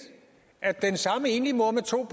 at den samme enlige mor med to